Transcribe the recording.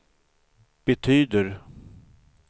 betyder